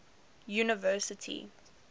university